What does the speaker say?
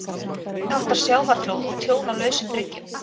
Minniháttar sjávarflóð og tjón á lausum bryggjum.